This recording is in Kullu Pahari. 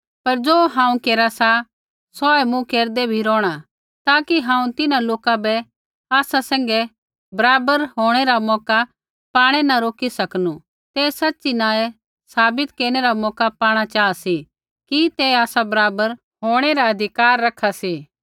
पर ज़ो हांऊँ केरा सा सौहै मूँ केरदै भी रोहणा ताकि हांऊँ तिन्हां लोका झ़ूठै प्रेरित बै आसा सैंघै बराबर होंणै रै मौका पाणै न रोकी सकनू तै सच़ी न ऐ साबित केरनै रा मौका पाणा चाहा सी कि तै आसा बराबर होंणै रा अधिकार रखा सी